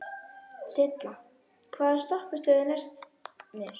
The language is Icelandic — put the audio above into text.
Silla, hvaða stoppistöð er næst mér?